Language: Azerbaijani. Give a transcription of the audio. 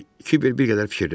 deyək, Kiber bir qədər fikirləşdi.